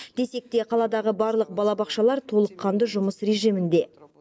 десек те қаладағы барлық балабақшалар толыққанды жұмыс режимінде